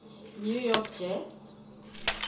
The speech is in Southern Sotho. new york jets